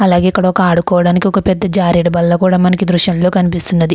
అలాగే ఇక్కడ ఒక ఆడుకోవడానికి ఒక పెద్ద జారుడు బల్ల కూడా మనకి దృశంలో కనిపిస్తున్నది.